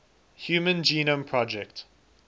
human genome project